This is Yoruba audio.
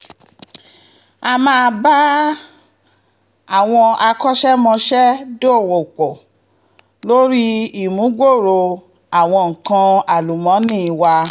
a máa bá àwọn akọ́ṣẹ́mọṣẹ́ dọwọ́-pọ̀ lórí ìmúgbòòrò àwọn nǹkan àlùmọ́nì wa